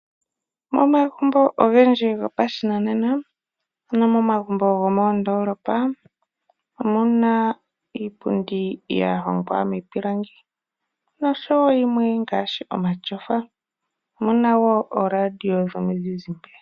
Momagumbo ogendji go pashinanena ano momagumbk go moondoolopa omuna iipundi ya hongwa miipilangi oshowo yimwe ngaashi omatyofa .omuna woo oo radio dhomu zizimbe.